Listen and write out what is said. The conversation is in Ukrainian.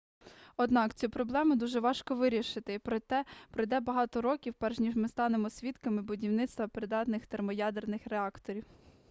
однак цю проблему дуже важко вирішити і пройде багато років перш ніж ми станемо свідками будівництва придатних термоядерних реакторів